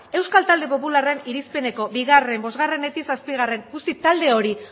euskal talde popularraren irizpeneko bigarren bosgarrenetik zazpigarren talde hori